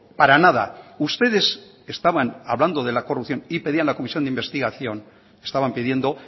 para nada ustedes estaban hablando de la corrupción y pedían la comisión de investigación estaban pidiendo